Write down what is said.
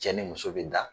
Cɛ ni muso be da